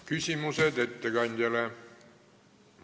Küsimused ettekandjale.